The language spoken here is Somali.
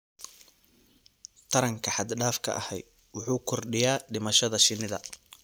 Taranka xad dhaafka ahi waxa uu kordhiyaa dhimashada shinnida.